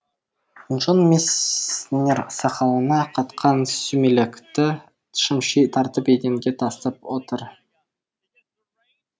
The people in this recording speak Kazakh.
джон месснер сақалына қатқан сүмелекті шымши тартып еденге тастап отыр